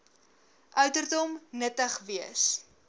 ouderdom nuttig wees